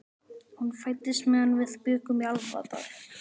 Hún fæddist meðan við bjuggum í Álfadal.